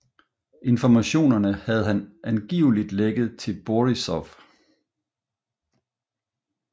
Informationerne havde han angiveligt lækket til Borisov